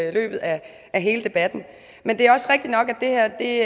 i løbet af hele debatten men det er også rigtigt nok at det